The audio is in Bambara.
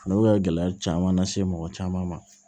Olu bɛ ka gɛlɛya caman lase mɔgɔ caman ma